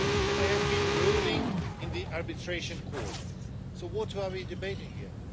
There has been a ruling in the arbitration court, so what are we debating here?